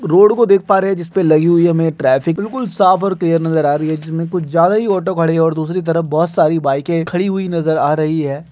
Road को देख पा रहे है जिसमें लगी हुई ट्रैफिक बिलकुल साफ़ और क्लियर नजर आ रही है जिसमें कुछ ज्यादा ही ऑटो खड़ी है और दुसरी तरफ बहुत सारी बाइके खड़ी हुई नज़र आ रही है।